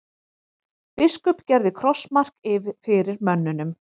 Biskup gerði krossmark fyrir mönnunum.